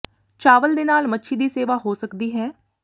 ਚਾਵਲ ਦੇ ਨਾਲ ਮੱਛੀ ਦੀ ਸੇਵਾ ਹੋ ਸਕਦੀ ਹੈ